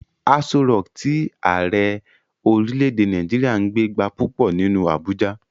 Aso rọọ̀kí tí Ààrẹ orílè-èdè Nàìjíríà ń gbé gba púpọ̀ nínú Abuja.